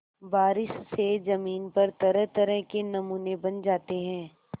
बारिश से ज़मीन पर तरहतरह के नमूने बन जाते हैं